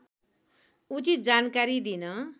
उचित जानकारी दिन